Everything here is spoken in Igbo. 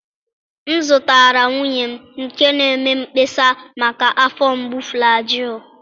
M zụtara nwunye m nke na-eme mkpesa maka afọ mgbu Flajịlụ